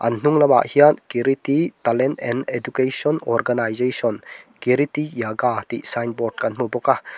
a hnung lam ah hian kiriti talent and education organisation kiriti yoga tih signboard kan hmu bawk a.